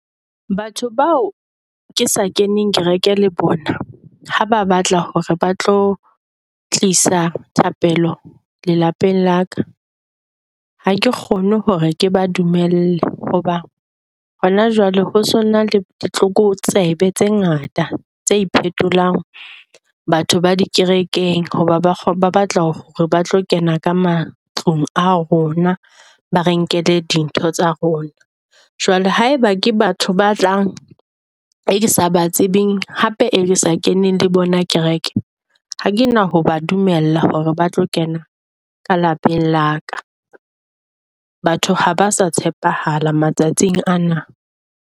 Batho bao ke sa keneng kereke le bona ha ba batla hore ba tlo tlisa thapelo lelapeng la ka, ha ke kgone hore ke ba dumele hoba hona jwale ho sona le di tlokotsebe tse ngata tse phetolang batho ba di kerekeng. Ho ba batla hore ba tlo kena ka matlung a rona, ba re nkelle dintho tsa rona jwale haeba ke batho ba tlang e ke sa batsebeng hape e sa kene le bona kereke. Ha kena ho ba dumella hore ba tlo kena ka lapeng la ka. Batho ha ba sa tshepahala matsatsing ana.